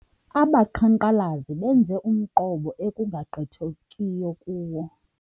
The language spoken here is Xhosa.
Abaqhankqalazi benze umqobo ekungagqithekiyo kuwo.